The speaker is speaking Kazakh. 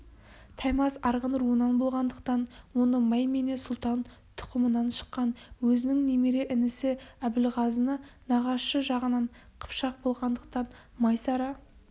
таймас арғын руынан болғандықтан оны маймене сұлтан тұқымынан шыққан өзінің немере інісі әбілғазыны нағашы жағынан қыпшақ болғандықтан майсара